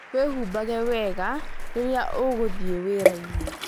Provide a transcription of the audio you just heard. Wĩhumbae wega rĩrĩa ũgũthiĩ wĩra-inĩ